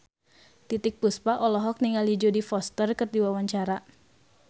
Titiek Puspa olohok ningali Jodie Foster keur diwawancara